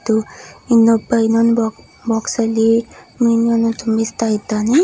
ಇನ್ನೊಬ ಇನ್ನೊಂದು ಬಾಕ್ಸ್ ಅಲ್ಲಿ ಏನೋ ತೋರಿಸ್ತಾ ಇದ್ದಾನೆ.